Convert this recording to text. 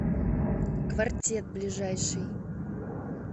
квартет ближайший